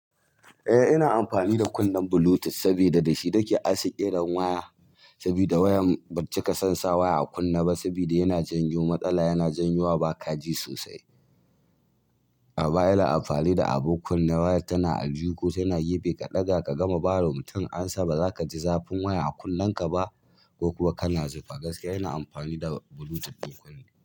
Eh ina amfani da kunnen Bluetooth saboda da shi nake ansa kiran waya. Saboda wayan cika son sa waya a kunne ba saboda yana janyo matsala, yana janyowa ba kaji sosai. A baya ina amfani da abun kunna waya tana aljuhu, tana gefe ka ɗaga ka gama ba wa mutum amsa. Ba zaka ji zafin waya a kunnen ka ba yana amfani da Bluetooth ɗin kunne.